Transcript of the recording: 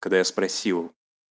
когда я спросил